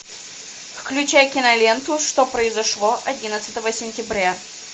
включай киноленту что произошло одиннадцатого сентября